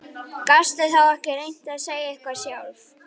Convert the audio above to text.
Gastu þá ekki reynt að segja eitthvað sjálf?